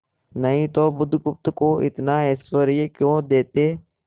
नहीं तो बुधगुप्त को इतना ऐश्वर्य क्यों देते